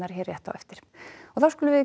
hér rétt á eftir þá skulum við